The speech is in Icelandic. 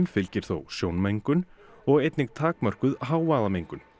fylgir þó sjónmengun og einnig takmörkuð hávaðamengun